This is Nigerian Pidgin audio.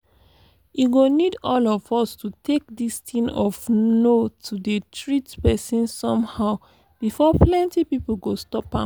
e go need all of us to take this thing of no to dey treat person somehow before plenty people go stop am